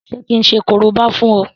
Ṣé kí n ṣe korobá fún ọ?